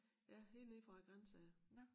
Ja helt nede fra æ grænse af